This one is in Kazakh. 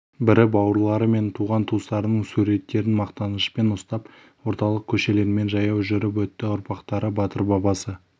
бірі бауырлары мен туған-туыстарының суреттерін мақтанышпен ұстап орталық көшелермен жаяу жүріп өтті ұрпақтары батыр бабасы